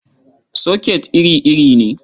Soket iri-iri ne.